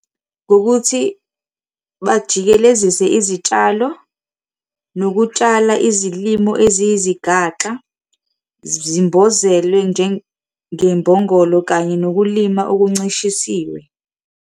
Ngokuthi bajikelezise izitshalo, nokutshala izilimo eziyizigaxa zimbozelwe, njengembongolo kanye nokulima okuncishisiwe.